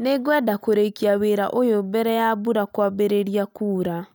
Nĩngwenda kũrĩkia wĩra ũyũ mbere ya mbura kwambĩrĩria kuura